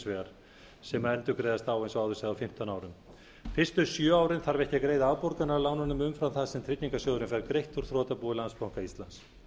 vegar sem endurgreiðist þá eins og áður sagði á fimmtán árum fyrstu sjö árin þarf ekki að greiða afborganir af lánunum umfram það sem tryggingarsjóðurinn fær greitt úr þrotabúi landsbanka íslands